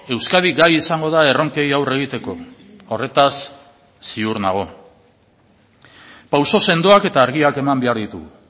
euskadi gai izango da erronkei aurre egiteko horretaz ziur nago pauso sendoak eta argiak eman behar ditugu